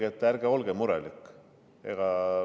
Öelge, et ärge olge murelik!